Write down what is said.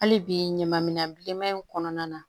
Hali bi ɲaman minan bilenman in kɔnɔna na